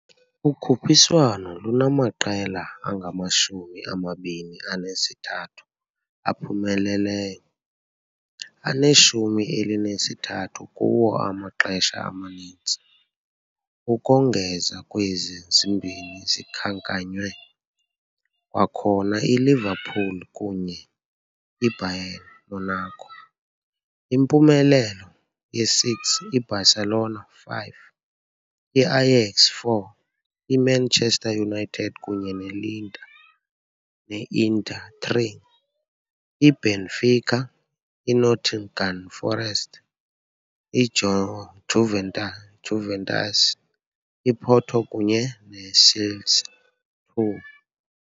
Ukhuphiswano lunamaqela angamashumi amabini anesithathu aphumeleleyo, aneshumi elinesithathu kuwo amaxesha amaninzi. Ukongeza kwezi zimbini zikhankanywe, kwakhona iLiverpool kunye IBayern Monaco impumelelo ye-6, IBarcelona 5, IAyax 4, IManchester united kunye ne-Inter 3, IBenfica, INottingham forest, IJuventus, IPorto kunye ne ICelsea 2.